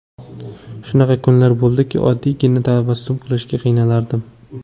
Shunaqa kunlar bo‘ldiki, oddiygina tabassum qilishga qiynalardim.